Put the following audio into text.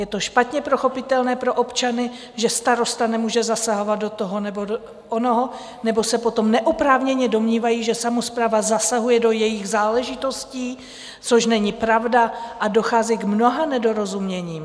Je to špatně pochopitelné pro občany, že starosta nemůže zasahovat do toho nebo onoho, nebo se potom neoprávněně domnívají, že samospráva zasahuje do jejich záležitostí, což není pravda, a dochází k mnoha nedorozuměním.